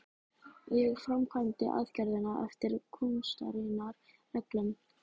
Og ég framkvæmdi aðgerðina eftir kúnstarinnar reglum.